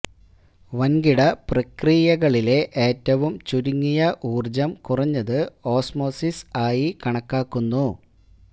വൻകിട പ്രക്രിയകളിലെ ഏറ്റവും ചുരുങ്ങിയ ഊർജ്ജം കുറഞ്ഞത് ഓസ്മോസിസ് ആയി കണക്കാക്കുന്നു